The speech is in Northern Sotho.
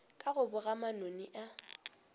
ka go boga manoni a